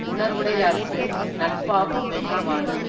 உணர்வுடையார்க்கு நட்பாகு மென்றவாறு